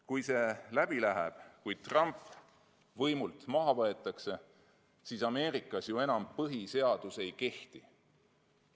Kui see läbi läheb, kui Trump võimult maha võetakse, siis Ameerikas enam põhiseadus ei kehti.